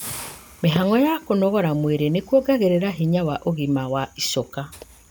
Mĩhang'o ya kũnogora mwĩrĩ nĩkuongagĩrĩra hinya na ũgima wa icoka